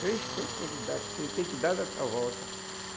Três toques que dá tem tem que dar nessa volta.